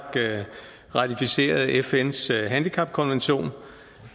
ratificerede fns handicapkonvention